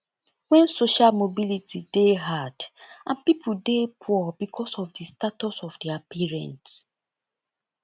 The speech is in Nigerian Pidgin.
when social mobility dey hard and pipo dey poor because of di status of their parent